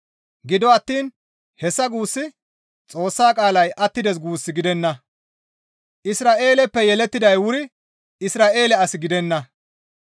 Gido attiin hessa guussi Xoossa qaalay attides guus gidenna; Isra7eeleppe yelettiday wuri Isra7eele as gidenna.